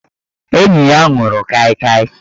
Enyi ya nwụrụ Kai Kai